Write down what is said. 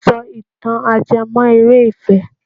Sọ ìtàn ajẹ́mọ́- eré ìfẹ́!